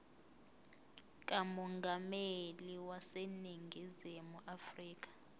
kamongameli waseningizimu afrika